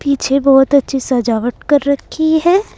पीछे बहोत अच्छी सजावट कर रखी है।